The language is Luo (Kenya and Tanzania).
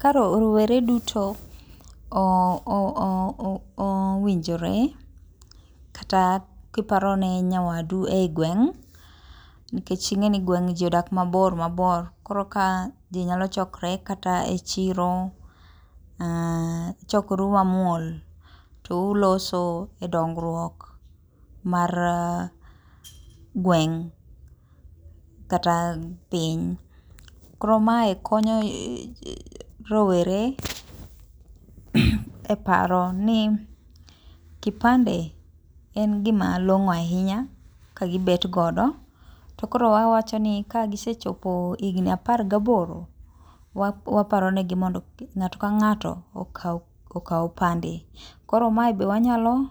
Ka rowere duto owinjore kata kiparone nyawadu e gweng' nikech ing'e ni gweng' ji odak mabor mabor kata ka ji nyalo chokore e chiro to uchokoru mamuol touloso e dongruok mar gweng' kata piny. Koro mae konyo rowere e paro ni kipande en gima long'o ahinya ka gibet godo to koro awacho ni kagisechopo higni apar gaboro, waparo negi mondo ng'ato kang'ato okaw kipande, koro mae be wanyalo